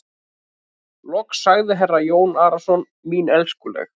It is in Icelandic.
Loks sagði herra Jón Arason:-Mín elskuleg.